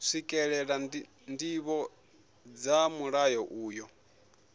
swikelela ndivho dza mulayo uyu